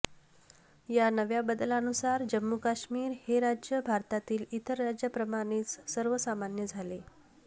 या नव्या बदलानुसार जम्मू कश्मीर हे राज्य भारतातील इतर राज्याप्रमानेच सर्वसामान्य झाले